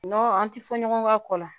Nɔn an ti fɔ ɲɔgɔn ka kɔ la